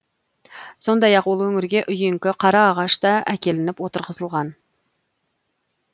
сондай ақ ол өңірге үйеңкі қараағаш та әкелініп отырғызылған